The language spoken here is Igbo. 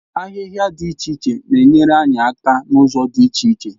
Ahịhịa dị iche iche na-enyere anyị aka n'ụzọ dị iche iche.